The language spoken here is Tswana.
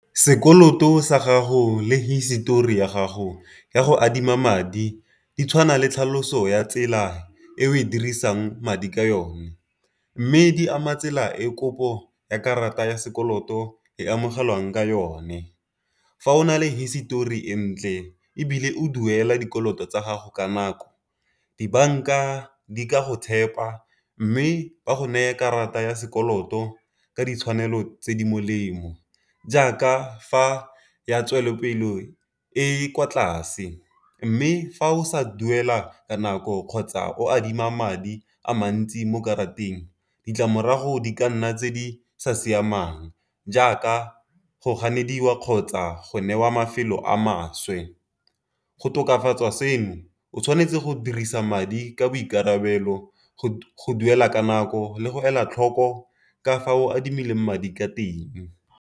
Sekoloto sa gago le hisetori ya gago ya go adima madi di tshwana le tlhaloso ya tsela e o e dirisang madi ka yone, mme di ama tsela e kopo ya karata ya sekoloto e amogelwang ka yone. Fa o na le hisetori e ntle, ebile o duela dikoloto tsa gago ka nako. Dibanka di ka go tshepa, mme di go neye karata ya sekoloto ka ditshwanelo tse di molemo. Jaaka fa ya tswelelopele e e kwa tlase mme fa o sa duela ka nako kgotsa o adima madi a mantsi mo karateng ditlamorago di ka nna tse di sa siamang, jaaka go ganediwa kgotsa go newa mafelo a maswe. Go tokafatsa seno o tshwanetse go dirisa madi ka boikarabelo, go duela ka nako le go ela tlhoko ka fa o adimileng madi ka teng.